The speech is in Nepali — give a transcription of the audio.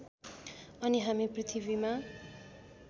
अनि हामी पृथ्वीमा